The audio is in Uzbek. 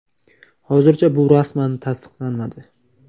Hozircha bu rasman tasdiqlanmadi.